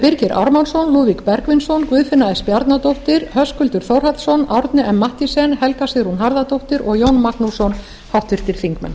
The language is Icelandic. birgir ármannsson lúðvík bergvinsson guðfinna s bjarnadóttir höskuldur þórhallsson árni m mathiesen helga sigrún harðardóttir og jón magnússon háttvirtir þingmenn